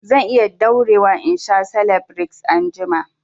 Zan iya daurewa in sha selebireks anjima